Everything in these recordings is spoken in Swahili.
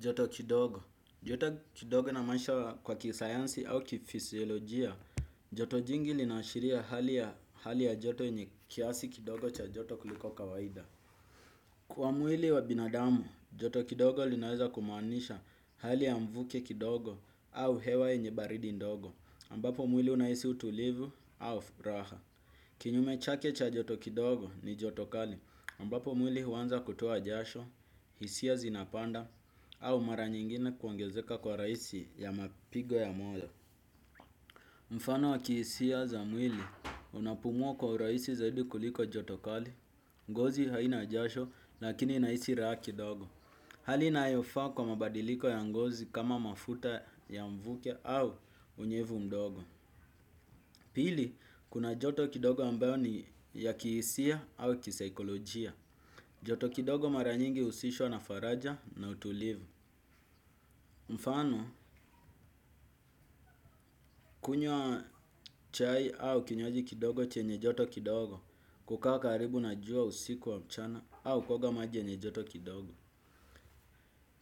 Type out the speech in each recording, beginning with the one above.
Joto kidogo. Joto kidogo inamaanisha kwa kisayansi au kifisiolojia, joto jingi linaashiria hali ya joto yenye kiasi kidogo cha joto kuliko kawaida. Kwa mwili wa binadamu, joto kidogo linaweza kumaanisha hali ya mvuke kidogo au hewa yenye baridi ndogo, ambapo mwili unahisi utulivu au furaha. Kinyume chake cha joto kidogo ni joto kali ambapo mwili huanza kutoa jasho, hisia zinapanda au mara nyingine kuongezeka kwa rahisi ya mapigo ya moyo. Mfano wa kihisia za mwili unapumua kwa urahisi zaidi kuliko joto kali, ngozi haina jasho lakini inahisi raha kidogo. Hali inayofaa kwa mabadiliko ya ngozi kama mafuta ya mvuke au unyevu mdogo. Pili, kuna joto kidogo ambayo ni ya kihisia au kisaikolojia. Joto kidogo mara nyingi huhusishwa na faraja na utulivu. Mfano, kunywa chai au kinywaji kidogo chenye joto kidogo, kukaa karibu na jua usiku wa mchana au kuoga maji yenye joto kidogo.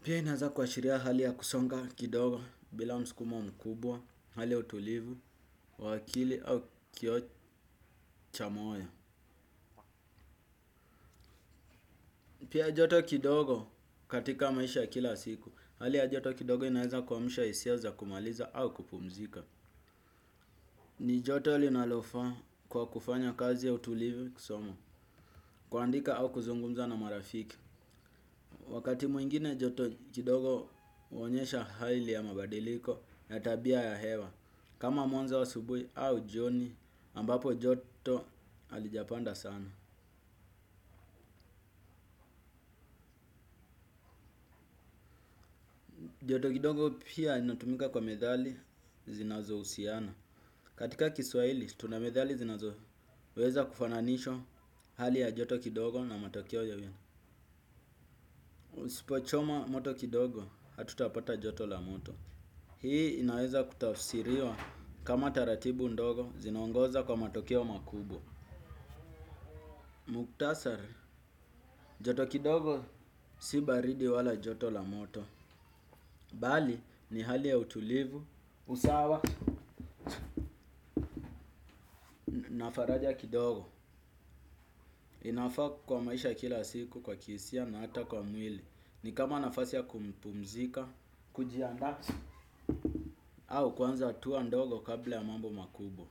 Pia inaeza kuashiria hali ya kusonga kidogo bila mskumo mkubwa, hali ya utulivu, wa akili au kioo cha moyo. Pia joto kidogo katika maisha kila siku, hali ya joto kidogo inaeza kumsha hisia za kumaliza au kupumzika. Ni joto linalofaa kwa kufanya kazi ya utulivu kisomo, kuandika au kuzungumza na marafiki. Wakati mwingine joto kidogo huonyesha hali ya mabadiliko na tabia ya hewa. Kama mwanzo wa asubuhi au jioni ambapo joto halijapanda sana. Joto kidogo pia inatumika kwa methali zinazohusiana. Katika kiswahili, tuna methali zinazoweza kufananishwa hali ya joto kidogo na matokeo ya uwiano. Usipochoma moto kidogo, hatutapata joto la moto. Hii inaweza kutafsiriwa kama taratibu ndogo, zinaongoza kwa matokeo makubwa. Muktasari, joto kidogo si baridi wala joto la moto. Bali ni hali ya utulivu, usawa na faraja kidogo. Inafaa kwa maisha ya kila siku kwa kihisia na hata kwa mwili. Ni kama nafasi ya kumpumzika, kujiandaa. Au kuanza hatua ndogo kabla ya mambo makubwa.